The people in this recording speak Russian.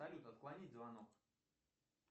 салют отклонить звонок